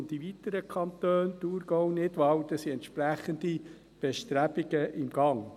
In weiteren Kantonen – Thurgau, Nidwalden – sind entsprechende Bestrebungen im Gang.